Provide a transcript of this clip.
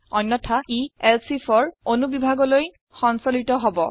অন্যথা ই elseifৰ অনুবিভাগলৈ সঞ্চলিত হব